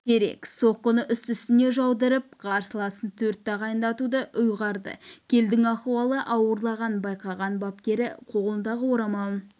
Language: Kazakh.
керек соққыны үсті-үстіне жаудырып қарсыласын төрт тағандатуды ұйғарды келлдің ахуалы ауырлағанын байқаған бапкері қолындағы орамалын